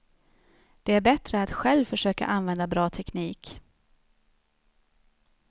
Det är bättre att själv försöka använda bra teknik.